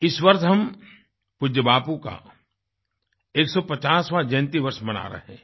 इस वर्ष हम पूज्य बापू का 150वाँ जयन्ती वर्ष मना रहे हैं